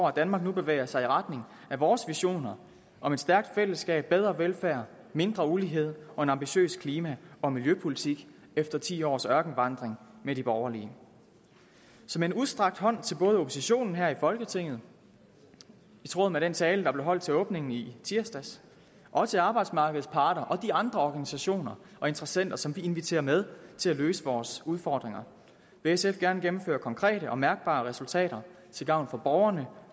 at danmark nu bevæger sig i retning af vores visioner om et stærkt fællesskab bedre velfærd mindre ulighed og en ambitiøs klima og miljøpolitik efter ti års ørkenvandring med de borgerlige som en udstrakt hånd til både oppositionen her i folketinget i tråd med den tale der blev holdt ved åbningen i tirsdags og til arbejdsmarkedets parter og de andre organisationer og interessenter som vi inviterer med til at løse vores udfordringer vil sf gerne gennemføre konkrete og mærkbare resultater til gavn for borgerne